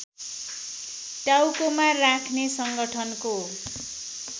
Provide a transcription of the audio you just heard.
टाउकोमा राख्ने संगठनको